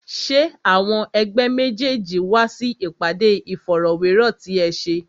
Ṣé àwọn ẹ̀gbẹ́ méjèèjì wá sí ìpàdé Ìfọ̀rọ̀wérọ̀ ti ẹ ṣe?